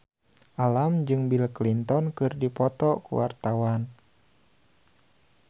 Alam jeung Bill Clinton keur dipoto ku wartawan